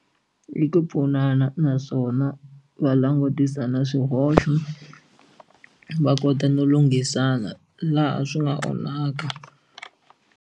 I ku pfunana naswona va langutisa na swihoxo va kota no lunghisana laha swi nga onhaka.